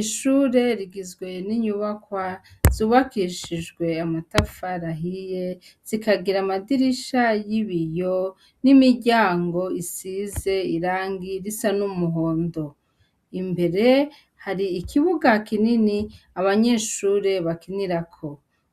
Ishure rigizwe n 'inyubakwa zubakishijw' amatafar'ahiye zikagir' amadirisha yibiyo n' imiryang' isize irangi risa n' umuhondo, imbere har' ikibuga kinini abanyeshure bakinirako,